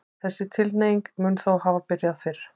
Þessi tilhneiging mun þó hafa byrjað fyrr.